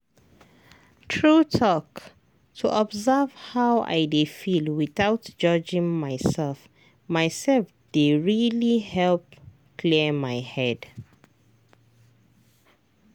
true talk to observe how i dey feel without judging myself myself dey really help clear my head.